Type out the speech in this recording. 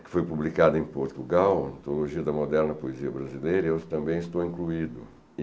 que foi publicada em Portugal, Antologia da Moderna Poesia Brasileira, eu também estou incluído.